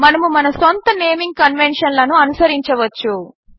మనము మన సొంత నేమింగ్ కన్వెన్షన్లను అనుసరించవచ్చు